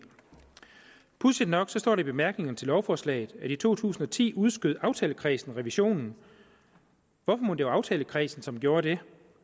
pudsigt nok står der i bemærkningerne til lovforslaget at i to tusind og ti udskød aftalekredsen revisionen hvorfor mon det var aftalekredsen som gjorde det